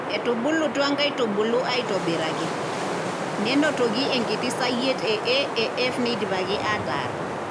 Etubulutua nkaitubulu aitobiraki, nenotoki enkiti sayiet e AAF neidipaki ataar.